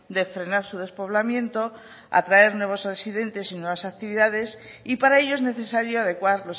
de frenar su despoblamiento atraer nuevos residentes y nuevas actividades y para ello es necesario adecuar